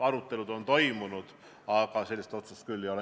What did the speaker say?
Arutelud on toimunud, aga sellist otsust küll ei ole.